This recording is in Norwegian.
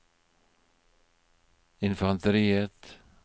infanteriet